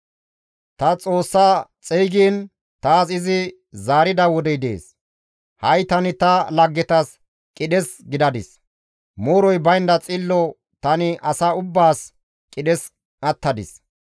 «Ta Xoossa xeygiin taas izi zaarida wodey dees; ha7i tani ta laggetas qidhes gidadis; mooroy baynda xillo tani asa ubbaas qidhes attadis.